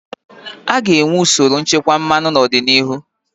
A ga-enwe usoro nchekwa mmanụ n'ọdịnihu.